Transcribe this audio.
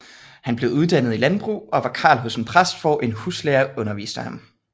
Han blev uddannet i landbrug og var karl hos en præst hvor en huslærer underviste ham